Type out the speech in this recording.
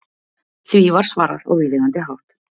Því var svarað á viðeigandi hátt.